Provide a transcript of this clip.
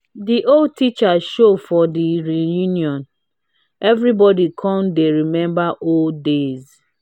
de old teacher show for the reunion everybody come dey remember old days